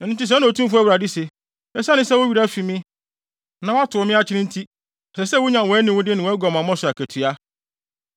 “Ɛno nti sɛɛ na Otumfo Awurade se: Esiane sɛ wo werɛ afi me, na woatow me akyene wʼakyi nti, ɛsɛ sɛ wunya wʼaniwude ne wʼaguamammɔ so akatua.”